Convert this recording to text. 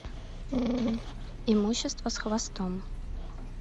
имущество с хвостом